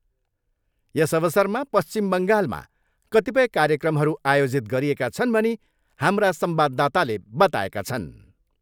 यस अवसरमा पश्चिम बङ्गालमा कतिपय कार्यक्रमहरू आयोजित गरिएका छन् भनी हाम्रा संवाददाताले बताएका छन्।